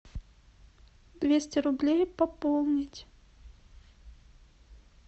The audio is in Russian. двести рублей пополнить